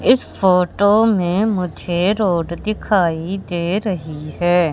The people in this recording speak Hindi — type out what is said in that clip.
इस फोटो में मुझे रोड दिखाई दे रही हैं।